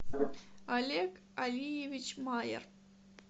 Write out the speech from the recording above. олег алиевич майер